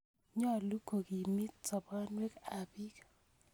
Nyalu ko kimiit soponwek ap piik